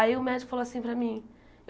Aí o médico falou assim para mim.